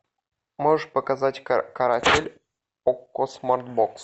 можешь показать каратель окко смарт бокс